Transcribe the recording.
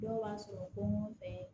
Dɔw b'a sɔrɔ ko fɛn